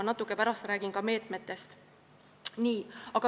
Ma pärast räägin natuke ka meetmetest.